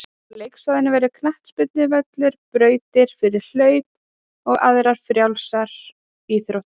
Á leiksvæðinu verður knattspyrnuvöllur, brautir fyrir hlaup og aðrar frjálsar íþróttir.